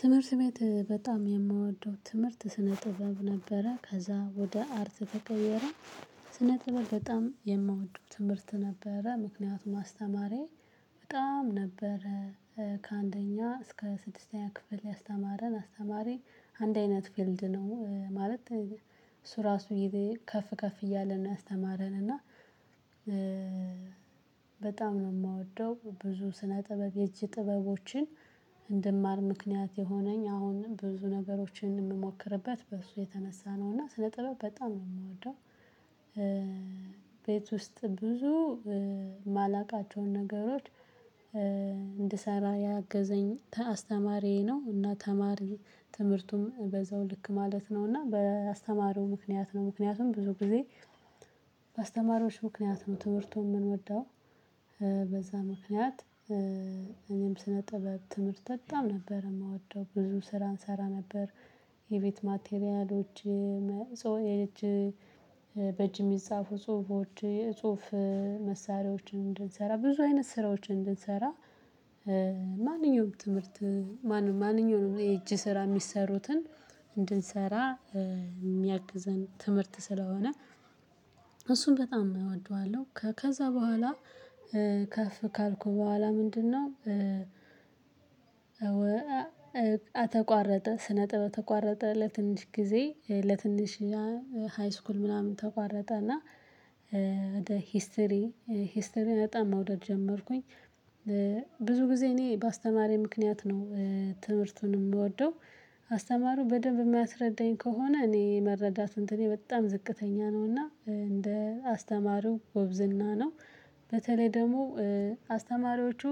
ትምህርት ቤት በጣም የምወደው ትምህርት ስነ ጥበብ ነበረ ከዛ ወደ አርት ተቀየረ። ስነ ጥበብ በጣም የምወደው ትምህርት ነበረ። ምክንያቱም ማስተማሪዬ በጣም ነበር። ከአንደኛ እስከ ስድስተኛ ክፍል ያስተማረን አስተማሪ አንድ አይነት ፊልድ ነው ማለት እሱ ራሱ ከፍ ከፍ እያለ ነው ያስተማረን እና። በጣም ነው የምወደው ብዙ ስነ ጥበብ የእጅ ጥበቦችን። እንድማር ምክንያት የሆነኝ አሁንም ብዙ ነገሮችን የምሞክርበት በሱ የተነሳ ነው እና ስለ ጥበብ በጣም ነው የምወደው። ቤት ውስጥ ብዙ የማላውቃቸውን ነገሮች እንድሰራ ያገዘኝ አስተማሪዬ ነው። እና ተማሪ ትምህርቱም በዛው ልክ ማለት ነው። እና በአስተማረው ምክንያት ነው ምክንያቱም ብዙ ጊዜ በአስተማሪዎች ምክንያት ነው ትምህርቱን የምንወደው። በዛ ምክንያት እኔም ስነ ጥበብ ትምህርት በጣም ነበር የምወደው ብዙ ስራ እንሰራ ነበር። የቤት ማቴሪያሎች የእጅ የሚጻፉ ጽሁፎች የጽሁፍ መሳሪያዎችን እንድንሰራ ብዙ አይነት ስራዎችን እንድንሰራ። ማንኛውም ትምህርት ማንኛውም የእጅ ስራ የሚሰሩትን እንድንሰራ የሚያግዘን ትምህርት ስለሆነ። እሱን በጣም እወደዋለሁ። ከዛ በኋላ ከፍ ካልኩ በኋላ ምንድነው? ተቋረጠ ስነጥበብ ተቋረጠ ለትንሽ ጊዜ ለትንሽ እና ሃይስኩል ምናምን ተቋረጠ። እና ወደ ሂስትሪ ሂስትሪ በጣም መውደድ ጀመርኩኝ። ብዙ ጊዜ እኔ ባስተማሪ ምክንያት ነው። ትምህርቱንም የምወደው። አስተማሪው በደንብ የማያስረዳኝ ከሆነ እኔ መረዳት እንትኔ በጣም ዝቅተኛ ነው እና እንደ አስተማሪው ጉብዝና ነው። በተለይ ደግሞ አስተማሪዎቹ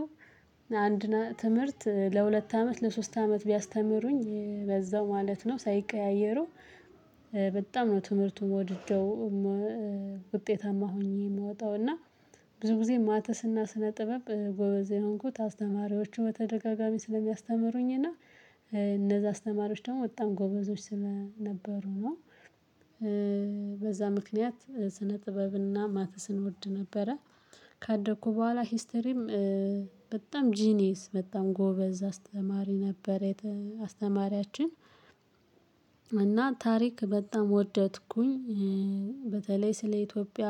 አንድ ትምህርት ለሁለት አመት ለሶስት አመት ቢያስተምሩኝ በዛው ማለት ነው ሳይቀያየሩ በጣም ነው ትምህርቱን ወድጄው። ውጤታማ ሆኜ የምወጣው እና ብዙ ጊዜ ማትስና ስነ ጥበብ ጎበዝ የሆንኩት አስተማሪዎቹ በተደጋጋሚ ስለሚያስተምሩኝ እና እነዛ አስተማሪዎች ደግሞ በጣም ጎበዞች ስለነበሩ ነው። በዛ ምክንያት ስነ ጥበብና ማትስን እወድ ነበረ። ካደኩ በኋላ ሂስተሪም በጣም ጂኒየስ በጣም ጎበዝ አስተማሪ ነበረ። አስተማሪያችን እና ታሪክ በጣም ወደድኩኝ። በተለይ ስለ ኢትዮጵያ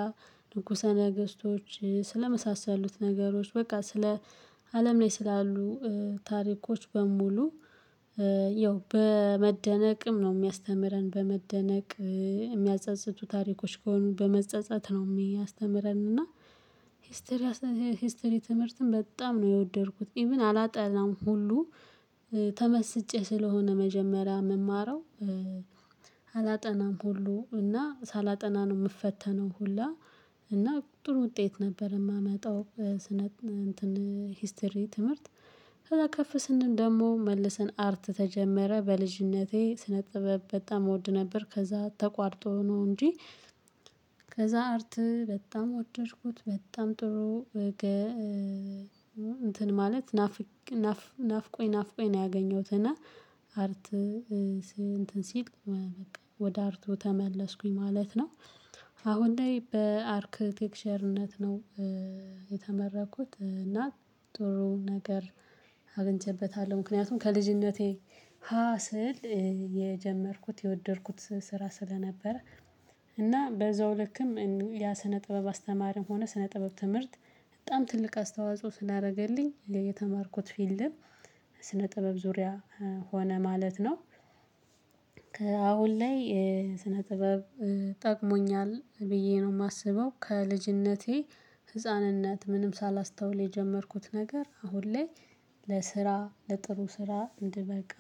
ንጉሰ ነገስቶች ስለመሳሰሉት ነገሮች በቃ ስለ አለም ላይ ስላሉ ታሪኮች በሙሉ። ያው በመደነቅም ነው የሚያስተምረን በመደነቅ የሚያጸጽቱ ታሪኮች ከሆኑ በመጸጸት ነው የሚያስተምረን። እና ሂስትሪ ሂስተትሪ ትምህርትን በጣም ነው የወደድኩት። ኢቭን አላጠላም ሁሉ ተመስጬ ስለሆነ መጀመሪያ የምማረው አላጠናም ሁሉ እና ሳላጠና ነው የምፈተነው። ሁላ እና ጥሩ ውጤት ነበር የማመጣው። ስነ እንትን ሂስትሪ ትምህርት ከፍ ስንድን ደግሞ መልሰን አርት ተጀመረ በልጅነቴ ስነ ጥበብ በጣም እወድ ነበር ከዛ ተቋርጦ ነው እንጂ። ከዛ አርት በጣም ወደድኩት በጣም ጥሩ። እንትን ማለት ናፍቆኝ ናፍቆኝ ነው ያገኘሁት። እና አርት እንትን ሲል በቃ ወደ አርቱ ተመለስኩኝ ማለት ነው። አሁን ላይ በአርክቴክቸርነት ነው። የተመረቅሁት እና ጥሩ ነገር አገኝቼበታለሁ ምክንያቱም ከልጅነቴ ሀ ስል የጀመርኩት የወደድኩት ስራ ስለነበረ። እና በዛው ልክም ያ ስነ ጥበብ አስተማርም ሆነ ስነ ጥበብ ትምህርት በጣም ትልቅ አስተዋጽኦ ስላደረገልኝ የተማርኩት ፊልልም ስነ ጥበብ ዙሪያ ሆነ ማለት ነው። ከአሁን ላይ ስነ ጥበብ ጠቅሞኛል ብዬ ነው የማስበው። ከልጅነቴ ህፃንነት ምንም ሳላስተውል የጀመርኩት ነገር አሁን ላይ ለስራ ለጥሩ ስራ እንድበቃ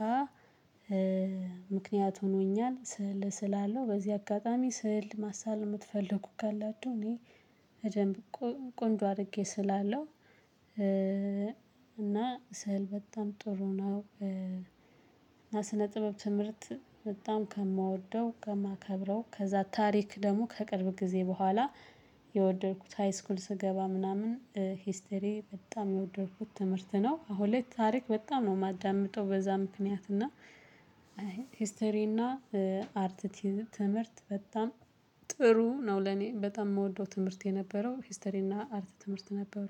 ምክንያት ሆኖኛል። ስዕል እስላለው በዚህ አጋጣሚ ስዕል ማሳል የምትፈልጉ ካላችሁ እኔ በደንብ ቆንጆ አድርጌ ስላለው። እና ስዕል በጣም ጥሩ ነው። እና ስነ ጥበብ ትምህርት በጣም ከማወደው ከማከብረው ከዛ ታሪክ ደግሞ ከቅርብ ጊዜ በኋላ የወደድኩት ሃይስኩል ስገባ ምናምን ሂስተሪ በጣም የወደድኩት ትምህርት ነው። አሁን ላይ ታሪክ በጣም ነው የማዳምጠው። በዛ ምክንያት እና ሂስትሪ እና አርት ትምህርት በጣም ጥሩ ነው። ለኔ በጣም የምወደው ትምህርት የነበረው ሂስትሪ እና አርት ትምህርት ነበሩ